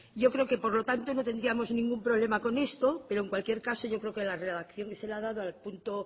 yo creo que por lo tanto no tendríamos ningún problema con esto pero en cualquier caso yo creo que la redacción que se ha dado al punto